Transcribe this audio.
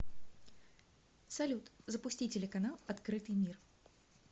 салют запусти телеканал открытый мир